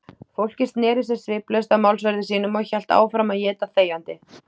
Fólkið sneri sér sviplaust að málsverði sínum og hélt áfram að éta þegjandi.